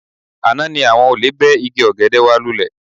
Àná ni àwọn olè bẹ́ igi ọ̀gẹ̀dẹ̀ wa lúlẹ